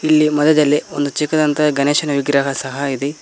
ಇಲ್ಲಿ ಮಧ್ಯದಲ್ಲಿ ಒಂದು ಚಿಕ್ಕದಾದಂತಹ ಗಣೇಶನ ವಿಗ್ರಹ ಸಹ ಇದೆ.